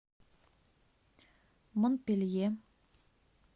монпелье